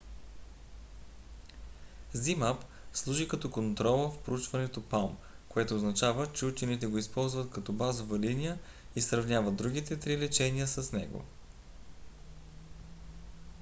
zmapp служи като контрола в проучването palm което означава че учените го използват като базова линия и сравняват другите три лечения с него